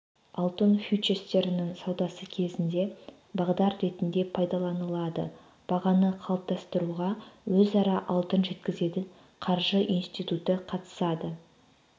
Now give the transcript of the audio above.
алтын фьючерстерінің саудасы кезінде бағдар ретінде пайдаланылады бағаны қалыптастыруға өзара алтын жеткізетін қаржы институты қатысады